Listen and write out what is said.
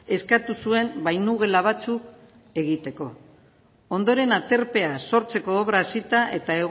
eskatu zuen bainugela batzuk egiteko ondoren aterpea sortzeko obra hasita eta